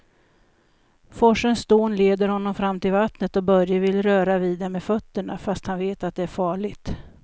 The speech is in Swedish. Forsens dån leder honom fram till vattnet och Börje vill röra vid det med fötterna, fast han vet att det är farligt.